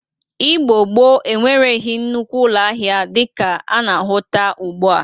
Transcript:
Igbo gboo enwereghi nnukwu ụlọ ahịa dịka a na-ahụta ugbu a.